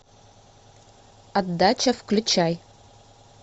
отдача включай